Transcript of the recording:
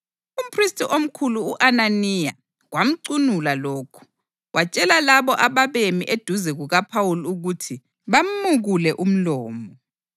Umphristi omkhulu, u-Ananiya, kwamcunula lokhu, watshela labo ababemi eduze kukaPhawuli ukuthi bamukule umlomo.